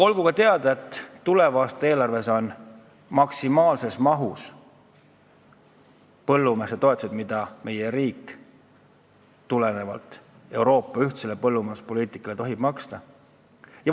Olgu teada, et tuleva aasta eelarves on eraldatud raha maksimaalses mahus toetusteks, mida meie riik tulenevalt Euroopa ühisest põllumajanduspoliitikast tohib maksta.